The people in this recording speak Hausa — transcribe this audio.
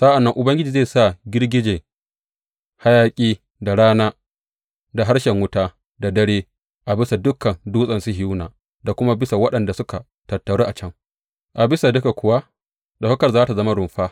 Sa’an nan Ubangiji zai sa girgijen hayaƙi da rana da harshen wuta da dare a bisa dukan Dutsen Sihiyona da kuma bisa waɗanda suka tattaru a can; a bisa duka kuwa ɗaukakar za tă zama rumfa.